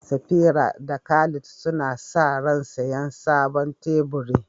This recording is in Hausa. Safira da Khalid suna sa ran siyan sabon teburi.